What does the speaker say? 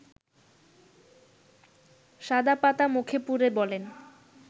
শাদা পাতা মুখে পুরে বলেন